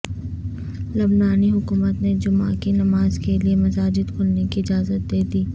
لبنانی حکومت نے جمعہ کی نمازکے لئے مساجدکھولنے کی اجازت دیدی